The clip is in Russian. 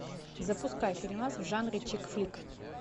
запускай фильмас в жанре чик флик